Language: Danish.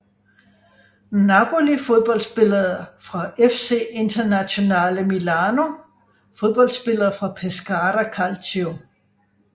Napoli Fodboldspillere fra FC Internazionale Milano Fodboldspillere fra Pescara Calcio